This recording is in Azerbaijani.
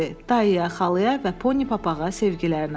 Dayıya, xalaya və poni papağa sevgilərlə.